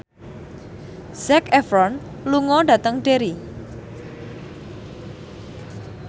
Zac Efron lunga dhateng Derry